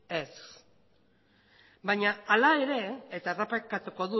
ez baina hala ere eta errepikatuko